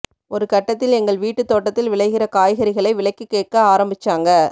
ஒருகட்டத்தில் எங்கள் வீட்டுத் தோட்டத்தில் விளைகிற காய்கறிகளை விலைக்குக் கேட்க ஆரம்பிச்சாங்க